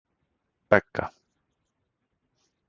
Begga